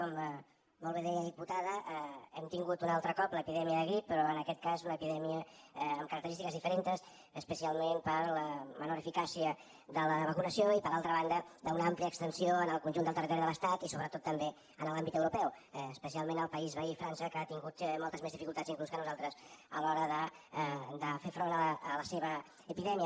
com molt bé deia diputada hem tingut un altre cop l’epidèmia de grip però en aquest cas una epidèmia amb característiques diferents especialment per la menor eficàcia de la vacunació i per altra banda d’una àmplia extensió en el conjunt del territori de l’estat i sobretot també en l’àmbit europeu especialment al país veí frança que ha tingut moltes més dificultats inclús que nosaltres a l’hora de fer front a la seva epidèmia